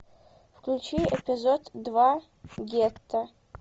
включи эпизод два гетто